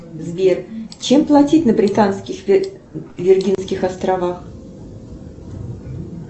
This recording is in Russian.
сбер чем платить на британских виргинских островах